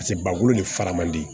Paseke bakolo ni fara man di